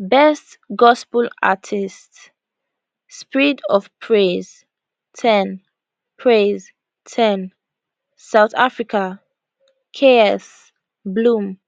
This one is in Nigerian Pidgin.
best gospel artist spirit of praise ten praise ten south africa ks bloom